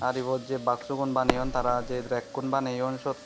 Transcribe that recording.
ibot jey baxugun baneyon tara je rek kun baneyon siyot.